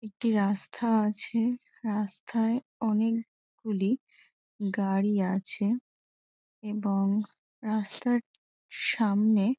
একটি রাস্তা আছে রাস্তায় অনেক গুলি গাড়ি আছে এবং রাস্তার সামনে--